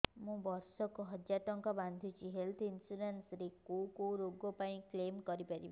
ମୁଁ ବର୍ଷ କୁ ହଜାର ଟଙ୍କା ବାନ୍ଧୁଛି ହେଲ୍ଥ ଇନ୍ସୁରାନ୍ସ ରେ କୋଉ କୋଉ ରୋଗ ପାଇଁ କ୍ଳେମ କରିପାରିବି